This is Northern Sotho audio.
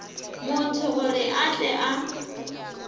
motho gore a tle a